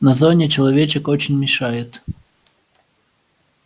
на зоне человечек очень мешает